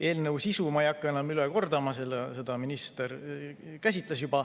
Eelnõu sisu ma ei hakka enam üle kordama, seda minister juba käsitles.